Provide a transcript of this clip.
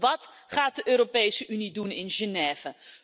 Wat gaat de Europese Unie doen in Genève?